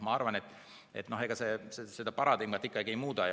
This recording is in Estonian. Ma arvan, et ega see seda paradigmat ikkagi ei muuda.